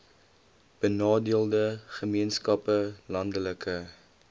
benadeelde gemeenskappe landelike